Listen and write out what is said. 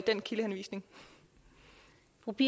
kigge i